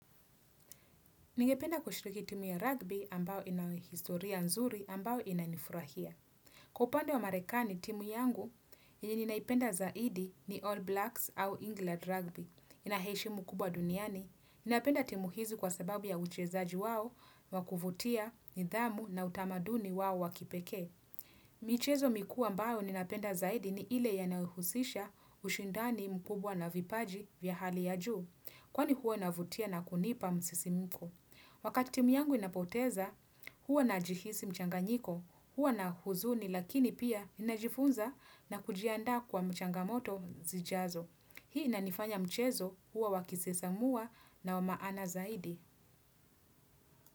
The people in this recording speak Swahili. Ningependa kushiriki timu ya rugby ambao ina historia nzuri ambao inanifurahia. Kwa upande wa marekani timu yangu, yenye ninaipenda zaidi ni All Blacks au England Rugby. Ina heshimu mkubwa duniani. Ninapenda timu hizi kwa sababu ya uchezaji wao, wa kuvutia, nidhamu na utamaduni wao wa kipekee. Michezo mikuu ambayo ninapenda zaidi ni ile yanayohusisha ushindani mkubwa na vipaji vya hali ya juu. Kwa ni huwa inavutia na kunipa msisimiko. Wakati timu yangu inapoteza, huwa najihisi mchanganyiko, huwa na huzuni lakini pia inajifunza na kujiandaa kwa mchangamoto zijazo. Hii inanifanya mchezo huwa wakisesamua na wa maana zaidi.